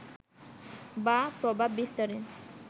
বা প্রভাব বিস্তারের